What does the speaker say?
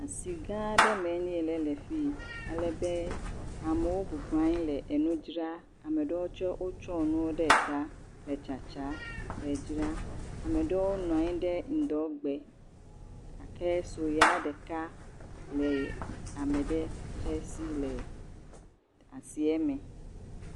Asi gã aɖe me le fi alebe amewo bɔbɔ nɔ anyi le nuɖewo dzra, ame ɖewo tsɛ wotsɔ nu ta le tsatsa, le dzra, ame ɖewo nɔ anyi ɖe ŋdɔ gbe gake sɔe ya ɖeka le ame ɖe tsɛ si le asie me.